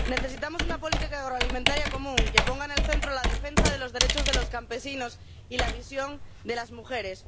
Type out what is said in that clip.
Necesitamos una política agroalimentaria común que ponga en el centro la defensa de los derechos de los campesinos y la visión de las mujeres.